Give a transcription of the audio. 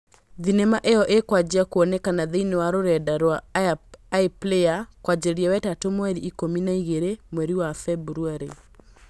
Thenema ĩyo ĩkwanjia kwoneka thĩinĩ wa rũrenda rwa iPlayer kwanjĩrĩria wetatũ mweri ikũmi na igĩrĩ mweri wa Februarĩ